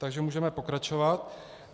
Takže můžeme pokračovat.